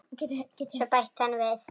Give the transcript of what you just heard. Svo bætti hann við